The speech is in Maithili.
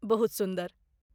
बहुत सुन्दर।